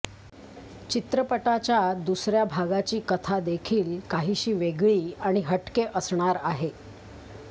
चित्रपटाच्या दुसऱ्या भागाची कथा देखील काहीशी वेगळी आणि हटके असणार आहे